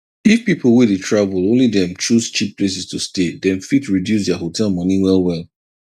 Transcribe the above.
if people way dey travel only dem choose cheap places to stay dem fit reduce their hotel money well well